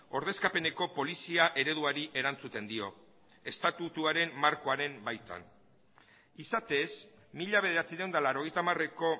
ordezkapeneko polizia ereduari erantzuten dio estatutuaren markoaren baitan izatez mila bederatziehun eta laurogeita hamareko